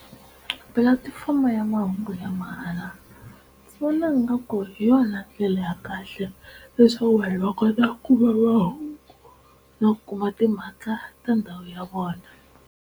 Pulatifomo ya mahungu ya mahala ndzi vona nga ku hi yona ndlela ya kahle leswaku vanhu va kota ku va va na ku kuma timhaka ta ndhawu ya vona.